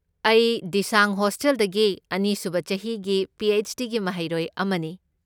ꯑꯩ ꯗꯤꯁꯥꯡ ꯍꯣꯁꯇꯦꯜꯗꯒꯤ ꯑꯅꯤꯁꯨꯕ ꯆꯍꯤꯒꯤ ꯄꯤ. ꯑꯩꯆ. ꯗꯤ. ꯒꯤ ꯃꯍꯩꯔꯣꯏ ꯑꯃꯅꯤ꯫